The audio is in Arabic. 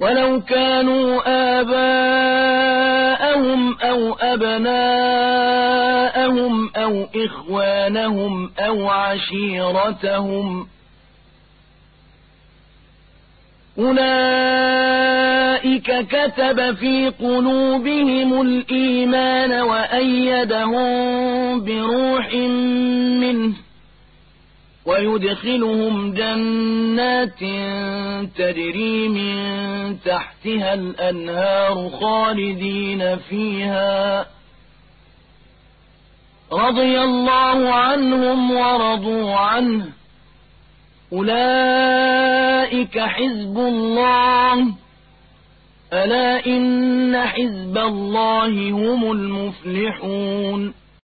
وَلَوْ كَانُوا آبَاءَهُمْ أَوْ أَبْنَاءَهُمْ أَوْ إِخْوَانَهُمْ أَوْ عَشِيرَتَهُمْ ۚ أُولَٰئِكَ كَتَبَ فِي قُلُوبِهِمُ الْإِيمَانَ وَأَيَّدَهُم بِرُوحٍ مِّنْهُ ۖ وَيُدْخِلُهُمْ جَنَّاتٍ تَجْرِي مِن تَحْتِهَا الْأَنْهَارُ خَالِدِينَ فِيهَا ۚ رَضِيَ اللَّهُ عَنْهُمْ وَرَضُوا عَنْهُ ۚ أُولَٰئِكَ حِزْبُ اللَّهِ ۚ أَلَا إِنَّ حِزْبَ اللَّهِ هُمُ الْمُفْلِحُونَ